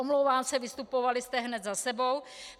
Omlouvám se, vystupovali jste hned za sebou...